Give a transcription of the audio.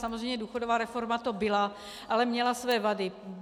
Samozřejmě důchodová reforma to byla, ale měla své vady.